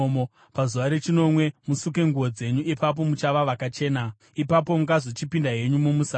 Pazuva rechinomwe musuke nguo dzenyu, ipapo muchava vakachena. Ipapo mungazochipinda henyu mumusasa.”